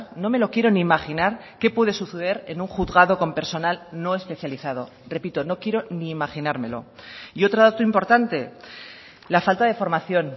no me lo quiero ni imaginar que puede suceder en un juzgado con personal no especializado repito no quiero ni imaginármelo y otro dato importante la falta de formación